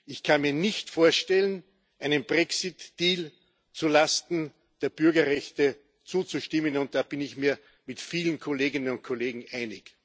Ich kann mir nicht vorstellen, einem Brexit Deal zu Lasten der Bürgerrechte zuzustimmen, und da bin ich mir mit vielen Kolleginnen und Kollegen einig.